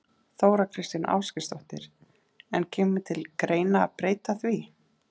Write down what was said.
Þóra Kristín Ásgeirsdóttir: En kemur til greina að breyta því?